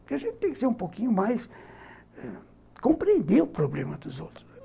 Porque a gente tem que ser um pouquinho mais... compreender o problema dos outros.